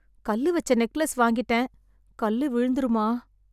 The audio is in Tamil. கல்லு வைச்ச நெக்லேஸ் வாங்கிட்டேன். கல்லு விழுந்துருமா?